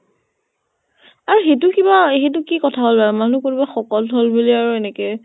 এই সেইটো কিবা সেইটো কি কথা হʼল আৰু, মানুহ কোনোবা শকত হʼল বুলি আৰু এনেকে